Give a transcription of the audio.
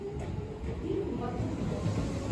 фильм в одну сторону